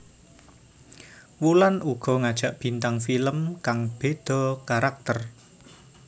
Wulan uga ngajak bintang film kang beda karakter